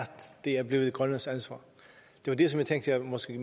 det er blevet grønlands ansvar det var det jeg måske